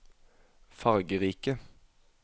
fargerike